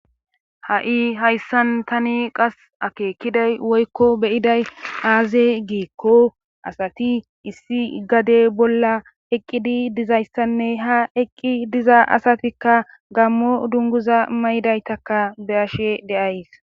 ha7i hayssan tani qas akeekkiday woykko beyiday aaze giikko asati issi gade bolla eqqidi dizayssanne ha eqqi diza asatikka gammo dunguza maydaytakka beashe deays